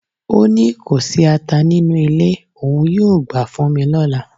O ni ko si ata ninu ile, oun yoo gba fun mi lola